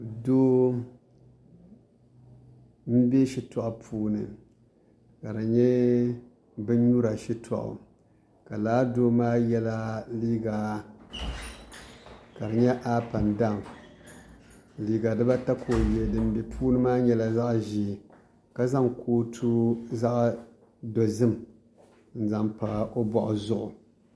Doo n bɛ shitɔɣu puuni ka di yɛ bini yura shitɔɣu ka laa doo maa yiɛla liiga ka di yɛ aap en dawu liiga dina ata ka o yiɛ dini bɛ puuni maa yɛla zaɣi ʒee ka zaŋ kootu zaɣi dozim n zaŋ pa o bɔɣu zuɣu.